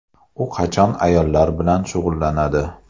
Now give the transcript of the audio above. U qachon ayollar bilan shug‘ullanadi?